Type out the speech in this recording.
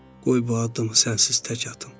Qoy bu addımı sənsiz tək atım.